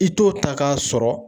I t'o ta k'a sɔrɔ